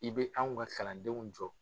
I bɛ anw ka kalandenw jɔ.